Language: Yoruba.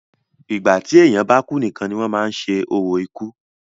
ìgbà tí èèyàn bá kú nìkan ni wọ́n máa ń ṣe orò ikú